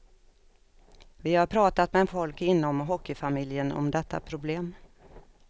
Vi har pratat med folk inom hockeyfamiljen om detta problem.